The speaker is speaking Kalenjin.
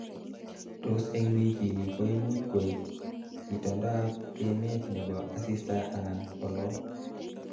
tos eng wikini koimuch koe itondab emet nebo asista anan olo